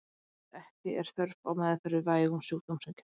Meðferð Ekki er þörf á meðferð við vægum sjúkdómseinkennum.